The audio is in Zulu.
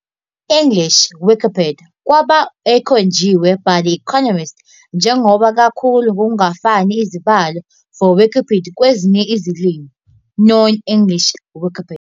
English Wikipedia kwaba ekhonjiwe by The Economist njengoba kakhulu Ngokungafani izibalo for Wikipedia kwezinye izilimi, non-English Wikipedia.